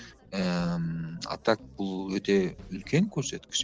ііі ммм а так бұл өте үлкен көрсеткіш